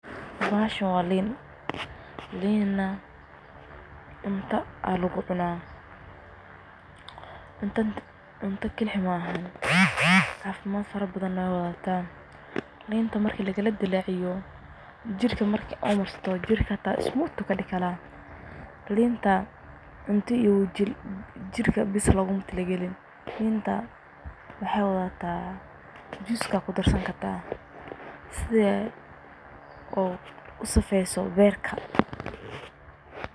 Bahashaan waa liin. Liin na cunta aa lagucuna. Cunta kalii mahaan cafimaad farabadha waay wadahataa, liinta marka lakaladilaciyo jirka marka aad marsato jirkata smooth kadigana. Linta cunta iyo jiirka baas la ugumatargalin. Liinta waxay wadahata juice ka kudarasani karta sidha oo safayso berka.